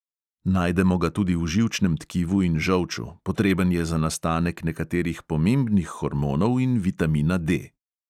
Najdemo ga tudi v živčnem tkivu in žolču, potreben je za nastanek nekaterih pomembnih hormonov in vitamina D.